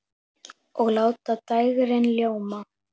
Og láta dægrin ljóma.